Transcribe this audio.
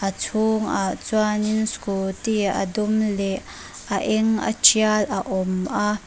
a chhungah chuanin scooty a dum leh a eng a tial a awm a.